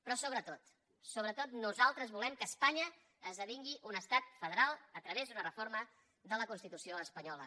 però sobretot sobretot nosaltres volem que espanya esdevingui un estat federal a través d’una reforma de la constitució espanyola